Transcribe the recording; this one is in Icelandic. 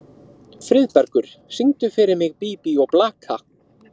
Friðbergur, syngdu fyrir mig „Bí bí og blaka“.